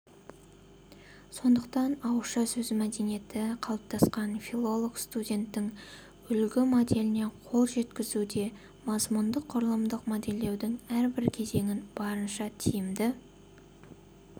сондықтан ауызша сөз мәдениеті қалыптасқан филолог-студенттің үлгі моделіне қол жеткізуде мазмұндық-құрылымдық модельдеудің әрбір кезеңін барынша тиімді